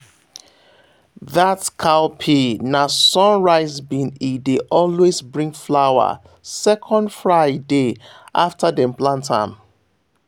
that cowpea na sunrise bean e dey always bring flower second friday after dem plant am.